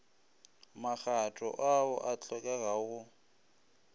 magato ao a hlokegago go